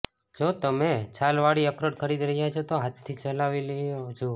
જો તમે છાલ વાળી અખરોટ ખરીદી રહ્યા છો તો હાથથી હલાવી જુઓ